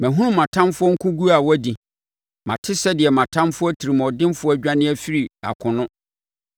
Mahunu mʼatamfoɔ nkoguo a wɔadi, mate sɛdeɛ mʼatamfoɔ atirimuɔdenfoɔ adwane afiri akono.